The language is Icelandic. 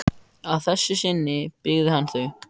Að þessu sinni byggði hann þau.